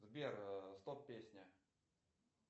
сбер стоп песня